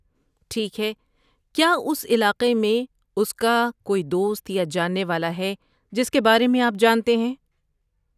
ٹھیک ہے، کیا اس علاقے میں اس کا کوئی دوست یا جاننے والا ہے جس کے بارے میں آپ جانتے ہیں؟